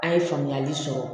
A' ye faamuyali sɔrɔ